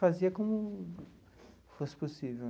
Fazia como fosse possível.